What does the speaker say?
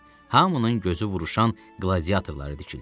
Hamının gözü vuruşan qladiatorlara tikildi.